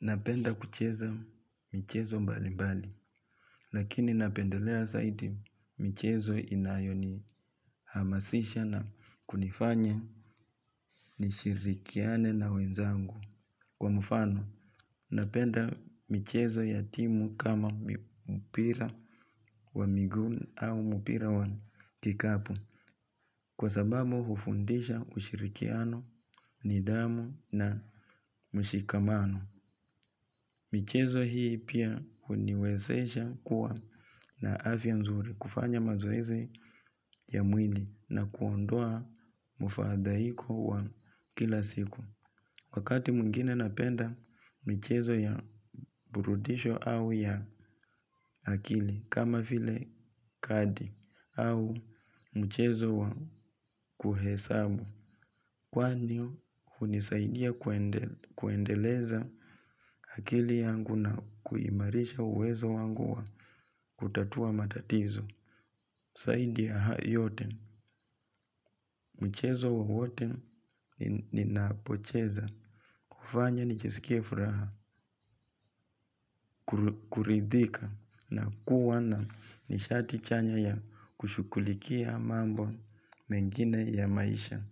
Napenda kucheza michezo mbalimbali, lakini napendelea zaidi michezo inayonihamasisha na kunifanya nishirikiane na wenzangu. Kwa mfano, napenda michezo ya timu kama mpira wa miguu au mpira wa kikapu, kwa sababu hufundisha ushirikiano, nidhamu na mshikamano. Michezo hii pia huniwezesha kuwa na afya nzuri kufanya mazoezi ya mwili na kuondoa mufadhaiko wa kila siku. Wakati mwingine napenda michezo ya burudisho au ya akili kama vile kadi au mchezo wa kuhesabu. Kwa hivyo, hunisaidia kuendeleza akili yangu na kuimarisha uwezo wangu wa kutatua matatizo. Zaidi ya haya yote, mchezo wowote ninapocheza. Hufanya nijisikie furaha, kuridhika na kuwa na nishati chanya ya kushughulikia mambo mengine ya maisha.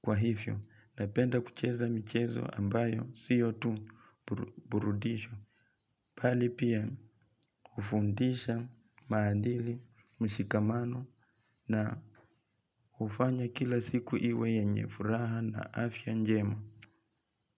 Kwa hivyo, napenda kucheza michezo ambayo sio tu burudisho bali pia hufundisha, maadili, mshikamano na hufanya kila siku iwe yenye furaha na afya njema.